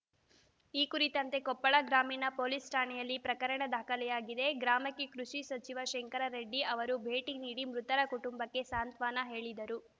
ಈ ಕುರಿತಂತೆ ಕೊಪ್ಪಳ ಗ್ರಾಮೀಣ ಪೊಲೀಸ್‌ ಠಾಣೆಯಲ್ಲಿ ಪ್ರಕರಣ ದಾಖಲಾಗಿದೆ ಗ್ರಾಮಕ್ಕೆ ಕೃಷಿ ಸಚಿವ ಶಂಕರೆಡ್ಡಿ ಅವರು ಭೇಟಿ ನೀಡಿ ಮೃತರ ಕುಟುಂಬಕ್ಕೆ ಸಾಂತ್ವನ ಹೇಳಿದರು